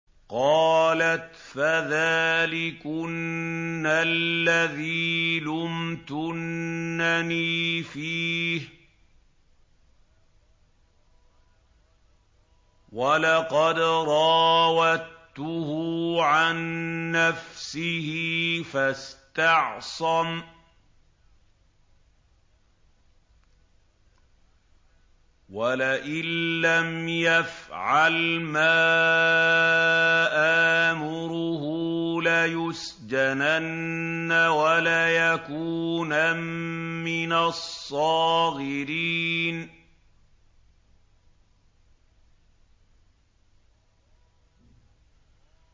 قَالَتْ فَذَٰلِكُنَّ الَّذِي لُمْتُنَّنِي فِيهِ ۖ وَلَقَدْ رَاوَدتُّهُ عَن نَّفْسِهِ فَاسْتَعْصَمَ ۖ وَلَئِن لَّمْ يَفْعَلْ مَا آمُرُهُ لَيُسْجَنَنَّ وَلَيَكُونًا مِّنَ الصَّاغِرِينَ